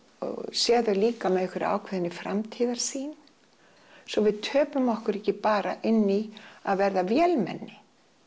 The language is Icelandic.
séð þau líka með einhverri ákveðinni framtíðarsýn svo við töpum okkur ekki bara inn í að verða vélmenni